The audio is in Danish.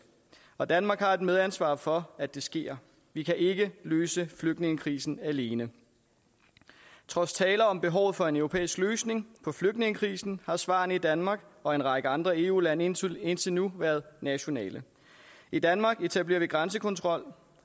og danmark har et medansvar for at det sker vi kan ikke løse flygtningekrisen alene trods taler om behovet for en europæisk løsning på flygtningekrisen har svarene i danmark og en række andre eu lande indtil indtil nu været nationale i danmark etablerer vi grænsekontrol